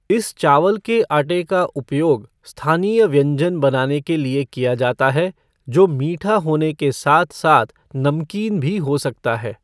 इस चावल के आटे का उपयोग स्थानीय व्यंजन बनाने के लिए किया जाता है जो मीठा होने के साथ साथ नमकीन भी हो सकता है।